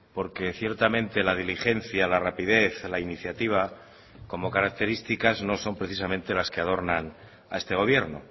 porque ciertamente la diligencia la rapidez la iniciativa como características no son precisamente las que adornan a este gobierno